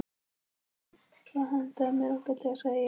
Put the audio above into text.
Það hentaði mér ágætlega, sagði ég.